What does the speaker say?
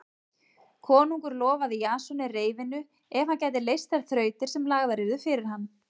Konungur lofaði Jasoni reyfinu ef hann gæti leyst þær þrautir sem lagðar yrðu fyrir hann.